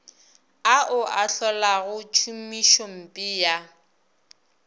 ao a hlolago tšhomišompe ya